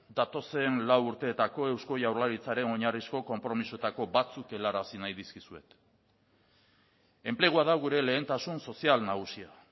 datozen lau urteetako eusko jaurlaritzaren oinarrizko konpromisoetako batzuk helarazi nahi dizkizuet enplegua da gure lehentasun sozial nagusia